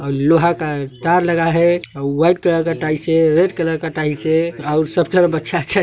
लोहा का तार लगा है व्हाइट कलर का टाइल्स हे रेड कलर का टाइल्स हे अउ सब तरफ अच्छा अच्छा--